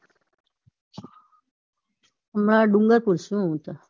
હમણાં ડુંગરપુર છું હૂતો.